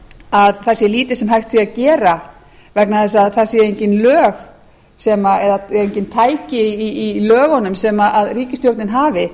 að það sé lítið sem hægt sé að gera vegna þess að það séu engin tæki í lögunum sem ríkisstjórnin hafi